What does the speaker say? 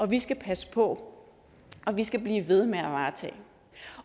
vi skal passe på og vi skal blive ved med at varetage